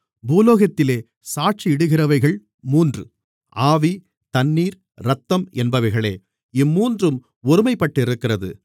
பூலோகத்திலே சாட்சியிடுகிறவைகள் மூன்று ஆவி தண்ணீர் இரத்தம் என்பவைகளே இம்மூன்றும் ஒருமைப்பட்டிருக்கிறது